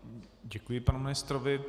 Děkuji panu ministrovi.